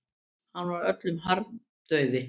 Hann var öllum harmdauði.